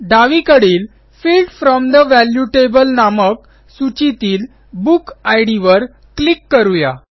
डावीकडील field from the value table नामक सूचीतील बुक इद वर क्लिक करू या